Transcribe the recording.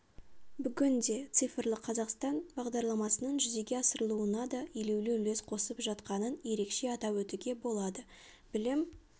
бүгінде цифрлы қазақстан бағдарламасының жүзеге асырылуына да елеулі үлес қосып жатқанын ерекше атап өтуге болады білім